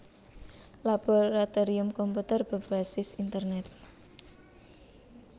Laboratorium Komputer berbasis Internet